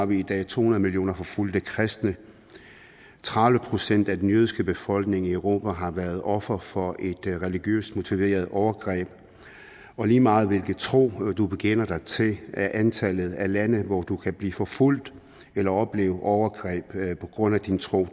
vi i dag har to hundrede millioner forfulgte kristne tredive procent af den jødiske befolkning i europa har været offer for et religiøst motiveret overgreb og lige meget hvilken tro du bekender dig til er antallet af lande hvor du kan blive forfulgt eller opleve overgreb på grund af din tro